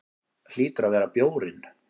Hlýtur að vera bjórinn.